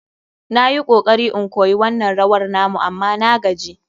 Na yi kokari in koyi wannan rawar na mu amma na gaji.